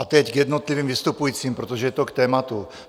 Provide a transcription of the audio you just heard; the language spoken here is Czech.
A teď k jednotlivým vystupujícím, protože je to k tématu.